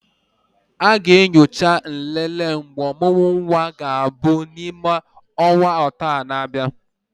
A ga-enyocha nlele mgbe ọmụmụ nwa ga-abụ n'ime ọnwa atọ na-abịa.